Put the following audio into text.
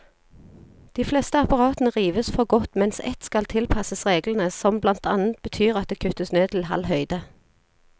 De fleste apparatene rives for godt, mens ett skal tilpasses reglene, som blant annet betyr at det kuttes ned til halv høyde.